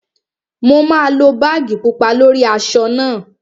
Mo máa lo báàgì pupa lórí aṣọ náà